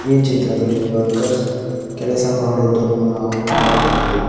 ಈ ಚಿತ್ರದಲ್ಲಿ ವರ್ಕರ್ಸ್ ಕೆಲಸ ಮಾಡುವುದನ್ನು ನಾವು ನೋಡಬಹುದು.